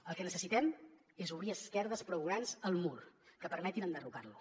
el que necessitem és obrir esquerdes prou grans al mur que permetin enderrocar lo